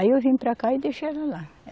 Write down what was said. Aí eu vim para cá e deixei ela lá.